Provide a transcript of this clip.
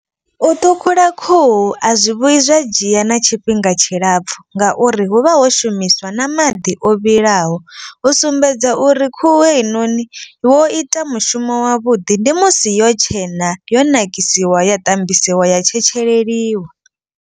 U ṱhukhula khuhu a zwi vhuyi zwa dzhia na tshifhinga tshilapfhu. Ngauri hu vha ho shumiswa na maḓi o vhilaho u sumbedza uri khuhu heinoni wo ita mushumo wavhuḓi. Ndi musi yo tshena yo nakisiwa ya ṱambisiwa ya tshetsheleliwa.